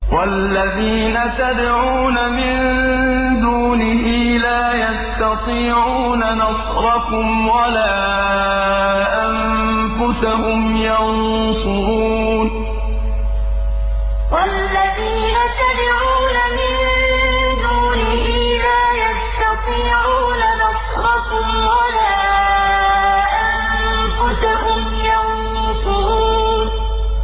وَالَّذِينَ تَدْعُونَ مِن دُونِهِ لَا يَسْتَطِيعُونَ نَصْرَكُمْ وَلَا أَنفُسَهُمْ يَنصُرُونَ وَالَّذِينَ تَدْعُونَ مِن دُونِهِ لَا يَسْتَطِيعُونَ نَصْرَكُمْ وَلَا أَنفُسَهُمْ يَنصُرُونَ